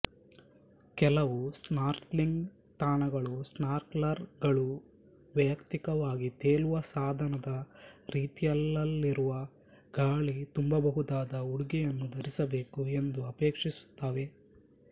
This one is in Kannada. ಕೆಲವು ಸ್ನಾರ್ಕ್ಲಿಂಗ್ ತಾಣಗಳು ಸ್ನಾರ್ಕಲರ್ ಗಳು ವೈಯಕ್ತಿಕವಾಗಿ ತೇಲುವ ಸಾಧನದ ರೀತಿಯಲಲ್ಲಿರುವ ಗಾಳಿ ತುಂಬಬಹುದಾದ ಉಡುಗೆಯನ್ನು ಧರಿಸಬೇಕು ಎಂದು ಅಪೇಕ್ಷಿಸುತ್ತವೆ